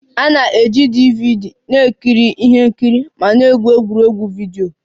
A na-eji DVD na-ekiri ihe nkiri ma na-egwu egwuregwu vidio